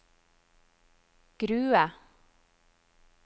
Grue